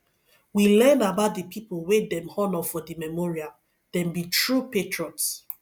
we learn about di pipo wey dem honor for di memorial dem be true patriots